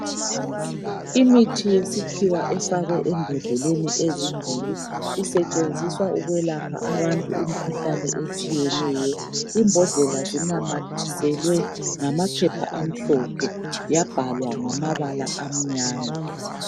imithi yesikhiwa efakwe embodleleni ezimbili isetshenziswa ukwelapha abantu imikhuhlane etshiyeneyo imbodlela zinamathiselwe ngamaphepha amhlophe yabhalwa ngamabala amnyama